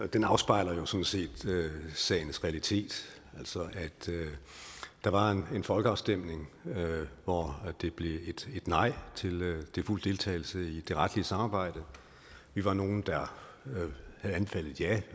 den afspejler jo sådan set sagens realitet altså at der var en folkeafstemning hvor det blev et nej til fuld deltagelse i det retlige samarbejde vi var nogle der havde anbefalet et ja